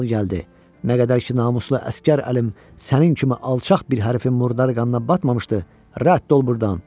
Al gəldi, nə qədər ki namuslu əsgər əlim sənin kimi alçaq bir hərəfin murdar qanına batmamışdı, rədd ol burdan.